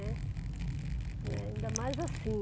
Né. Ainda mais assim.